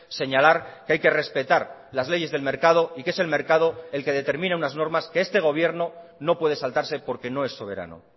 señalar que hay que respetar las leyes del mercado y que es el mercado el que determina unas normas que este gobierno no puede saltarse porque no es soberano